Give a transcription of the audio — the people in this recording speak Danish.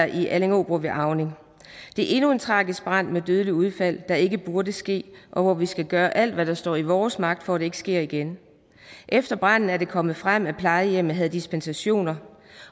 i allingeåbro ved auning det er endnu en tragisk brand med dødelig udgang der ikke burde ske og hvor vi skal gøre alt hvad der står i vores magt for at det ikke sker igen efter branden er det kommet frem at plejehjemmet havde dispensationer